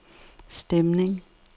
stemning